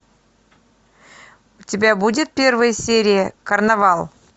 у тебя будет первая серия карнавал